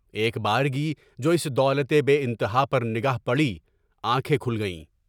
ایک بارگی جو اس دولتِ بےانتہا پر نگاہ پڑی، آنکھیں کھل گئیں۔